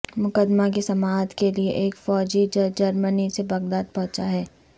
مقدمہ کی سماعت کے لیے ایک فوجی جج جرمنی سے بغداد پہنچا ہے